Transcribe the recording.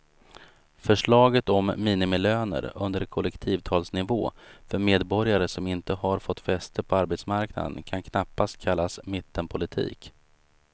Förslaget om minimilöner under kollektivavtalsnivå för medborgare som inte har fått fäste på arbetsmarknaden kan knappast kallas mittenpolitik.